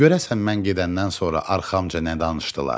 Görəsən mən gedəndən sonra arxamca nə danışdılar?